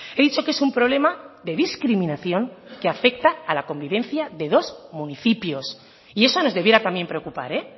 he dicho que es un problema de discriminación que afecta a la convivencia de dos municipios y eso nos debiera también preocupar eh